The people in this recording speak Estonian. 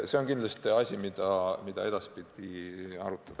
See on kindlasti asi, mida tuleks edaspidi arutada.